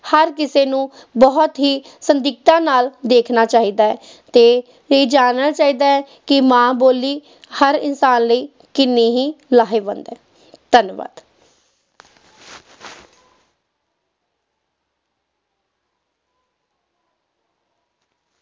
ਹਰ ਕਿਸੇ ਨੂੰ ਬਹੁਤ ਹੀ ਨਾਲ ਦੇਖਣਾ ਚਾਹੀਦਾ ਹੈ ਤੇ ਇਹ ਜਾਨਣਾ ਚਾਹੀਦਾ ਹੈ ਕਿ ਮਾਂ ਬੋਲੀ ਹਰ ਇਨਸਾਨ ਲਈ ਕਿੰਨੀ ਹੀ ਲਾਹੇਵੰਦ ਹੈ ਧੰਨਵਾਦ।